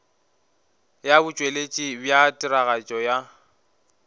ya botšweletši bja tiragatšo ya